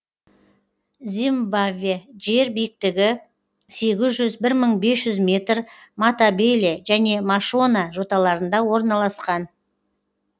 зимбабве жері биіктігі сегіз жүз бір мың бес жүз метр матабеле және машона жоталарында орналасқан